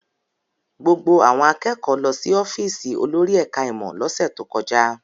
Gbogbo àwọn akẹ́kọ̀ọ́ lọ sí ọ́fíísì olórí ẹ̀ka-ìmọ̀ lọ́sẹ̀ tó kọjá.